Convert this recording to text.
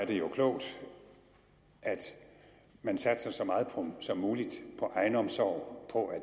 det klogt at man satser så meget som muligt på egenomsorg på at